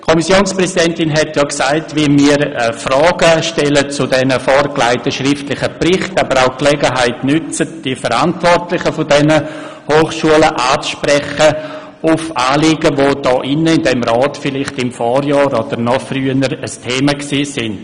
Die Kommissionspräsidentin hat ja erwähnt, dass wir zu den vorgelegten schriftlichen Berichten Fragen stellen, jeweils aber auch die Gelegenheit nutzen, die Verantwortlichen dieser Hochschulen auf Anliegen anzusprechen, die in diesem Rat vielleicht im Vorjahr oder noch früher Thema waren.